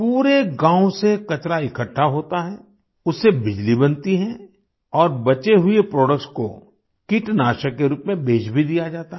पूरे गाँव से कचरा इकट्ठा होता है उससे बिजली बनती है और बचे हुए प्रोडक्ट्स को कीटनाशक के रूप में बेच भी दिया जाता है